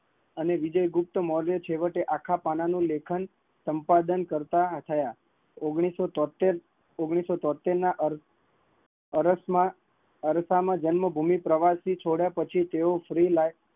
અને વિજય અને લેખન છેવટે આખા પણ નું લેખન કરતા થયા, ઓગણીસો તોતેર, ઓગણીસો તોતેર તેના અર્થ, અરથ માં રસ માં જન્મભૂમિ પ્રવસી તેઓ તેની